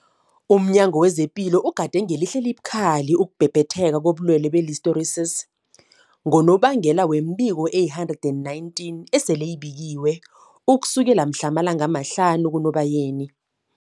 Philo ugade ngelihlo elibukhali ukubhebhetheka kobulwele be-Listeriosis, ngonobangela wemibiko eli-119 eseyibikiwe ukusukela mhlana ama-5 kuNobayeni.